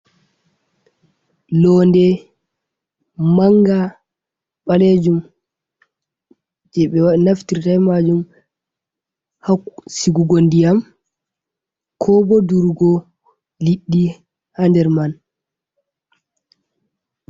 "Londe manga ɓalejum je be naftirta majum ha sigugo ndiyam ko bo durugo liddi ha nder man.